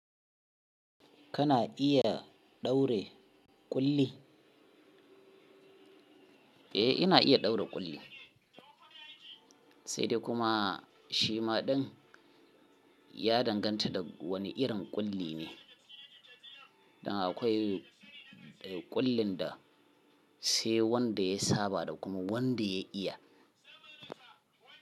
Kana iya ɗaure ƙulli? Eh ina iya ɗaure ƙulli, sai dai kuma shi ma ɗin ya danganta da wane irin ƙulli ne. Dan akwai ƙullin da sai wanda ya saba da kuma wanda ya iya.